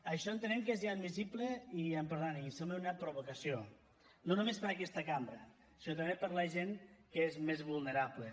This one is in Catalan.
això entenem que és inadmissible i em perdonaran sembla una provocació no només per a aquesta cambra sinó també per a la gent que és més vulnerable